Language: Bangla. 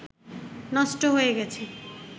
নষ্ট হয়ে গেছে